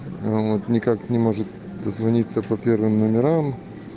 вот никак не может дозвониться по первым номерам